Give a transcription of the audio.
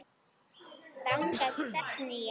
Þangað stefndi ég.